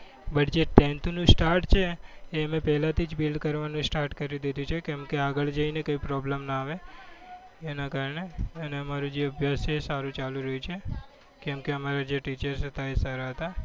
but જે tenth નું start છે એ અમે પહેલાથી જ built કરવાનું start કરી દીધું છે. કેમકે આગળ જઈને કોઈ problem ના આવે એના કારણે અને અમારો જે અભ્યાસ છે એ સારો ચાલી રહ્યો છે. કેમકે અમારા જે teachers હતા એ સારા હતા.